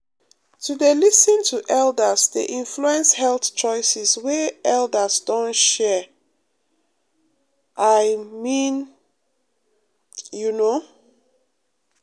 to dey lis ten to elders dey influence health choices wey elders don share um i um mean pause you know.